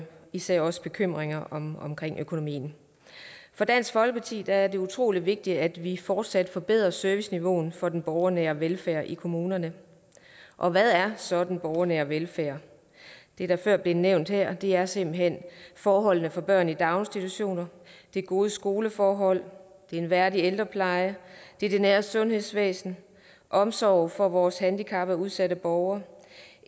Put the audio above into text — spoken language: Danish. især vores bekymringer omkring økonomien for dansk folkeparti er det utrolig vigtigt at vi fortsat forbedrer serviceniveauet for den borgernære velfærd i kommunerne og hvad er så den borgernære velfærd det er før blevet nævnt her og det er simpelt hen forholdene for børn i daginstitutioner gode skoleforhold en værdig ældrepleje det nære sundhedsvæsen omsorg for vores handicappede og udsatte borgere